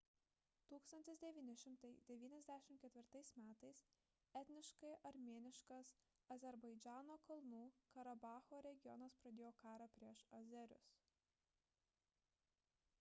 1994 m etniškai armėniškas azerbaidžano kalnų karabacho regionas pradėjo karą prieš azerius